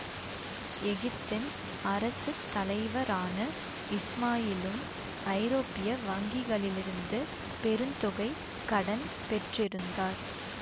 எகிப்தின் அரசு தலைவரான இஸ்மாயிலும் ஐரோப்பிய வங்கிகளிலிருந்து பெருந்தொகை கடன் பெற்றிருந்தார்